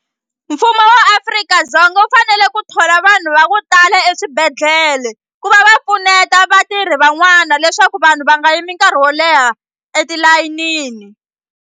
Mfumo wa Afrika-Dzonga wu fanele ku thola vanhu va ku tala eswibedhlele ku va va pfuneta vatirhi van'wana leswaku vanhu va nga yimi nkarhi wo leha etilayinini.